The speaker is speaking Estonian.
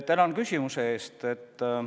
Tänan küsimuse eest!